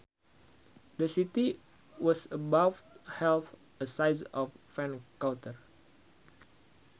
The city was about half the size of Vancouver